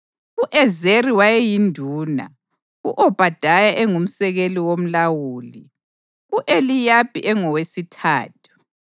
U-Ezeri wayeyinduna, u-Obhadaya engumsekeli womlawuli, u-Eliyabi engowesithathu,